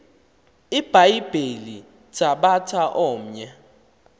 ibhayibhile thabatha omnye